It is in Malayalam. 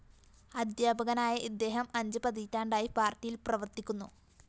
അധ്യാപകനായ ഇദ്ദേഹം അഞ്ച് പതിറ്റാണ്ടായി പാര്‍ട്ടിയില്‍ പ്രവര്‍ത്തിക്കുന്നു